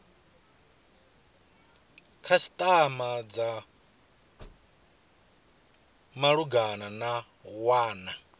khasitama dza malugana na wana